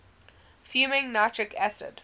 fuming nitric acid